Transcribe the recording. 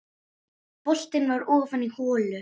Boltinn var ofan í holu.